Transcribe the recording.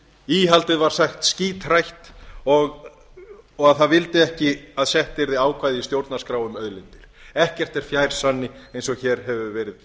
íhaldið var sagt skíthrætt og að það vildi ekki að sett yrði ákvæði í stjórnarskrá um auðlindir ekkert er fjær sanni eins og hér hefur verið